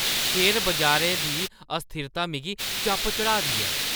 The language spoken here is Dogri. शेयर बजारै दी अस्थिरता मिगी चप चाढ़ा दी ऐ!